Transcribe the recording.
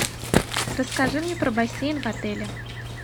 расскажи мне про бассейн в отеле